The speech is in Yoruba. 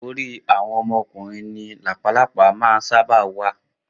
Orí àwọn ọmọ ọkùnrin ni làpálàpá máa ń sáábà máa wà